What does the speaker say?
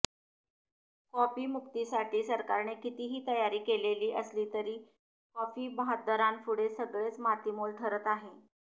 copy मुक्तीसाठी सरकारने कितीही तयारी केलेली असली तरी कॉपी बहाद्दरांपुढे सगळेच मातीमोल ठरत आहे